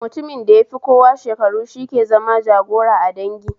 Mutumin da yafi kowa shekaru shi ke zama jagoira a dangi